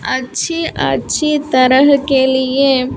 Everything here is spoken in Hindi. अच्छी अच्छी तरह के लिए --